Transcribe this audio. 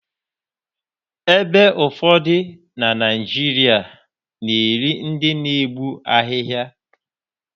Ebe ụfọdụ na Naijiria na-eri ndị na-egbu ahịhịa